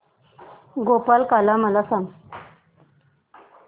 गोपाळकाला मला सांग